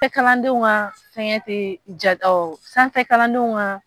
Tɛ kalandenw ka fɛngɛ tɛ ja kalandenw ka